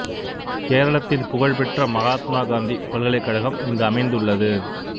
கேரளத்தின் புகழ்பெற்ற மகாத்மா காந்தி பல்கலைக் கழகம் இங்கு அமைந்துள்ளது